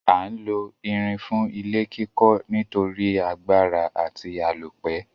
A n lo irin fún ilé kíkó nítorí agbára àti àlópẹ́